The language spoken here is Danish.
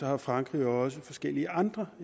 har frankrig jo også forskellige andre